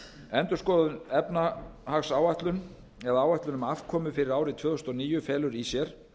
endurskoðuð efnahagsáætlun eða áætlun um afkomu árið tvö þúsund og níu felur í sér